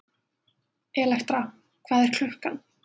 Elektra, hvað er klukkan?